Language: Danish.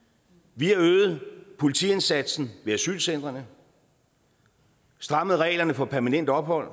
vi har øget politiindsatsen ved asylcentrene strammet reglerne for permanent ophold